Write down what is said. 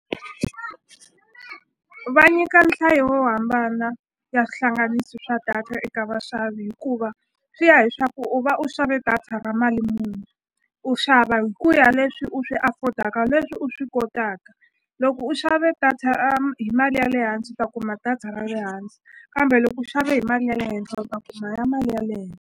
Va nyika nhlayo yo hambana ya swihlanganisi swa data eka vaxavi hikuva swi ya hi swaku u va u xave data ra mali muni u xava hi ku ya leswi u swi afford-ka leswi u swi kotaka loko u xave data hi mali ya le hansi u ta kuma data ra le hansi kambe loko u xave hi mali ya le henhla u ta kuma mali ya le .